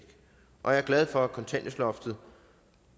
og jeg er glad for at kontanthjælpsloftet